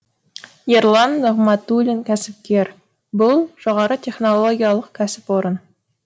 ерлан нығматулин кәсіпкер бұл жоғары технологиялық кәсіпорын